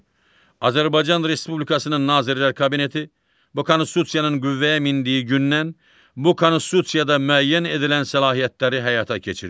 Azərbaycan Respublikasının Nazirlər Kabineti bu Konstitusiyanın qüvvəyə mindiyi gündən bu Konstitusiyada müəyyən edilən səlahiyyətləri həyata keçirir.